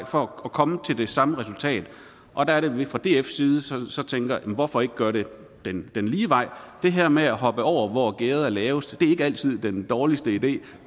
for at komme til det samme resultat der er det vi fra dfs side så tænker hvorfor ikke gøre det den lige vej det her med at hoppe over hvor gærdet er lavest er ikke altid den dårligste idé